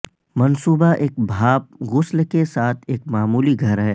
منصوبہ ایک بھاپ غسل کے ساتھ ایک معمولی گھر ہے